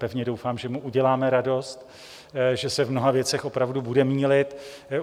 Pevně doufám, že mu uděláme radost, že se v mnoha věcech opravdu bude mýlit.